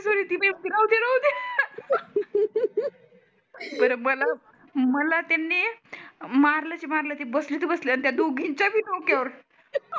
बर मला मला त्यांनी मारलच तर मारलच ते बसले तर बसले अन त्या दोघीचा पण डोक्या वर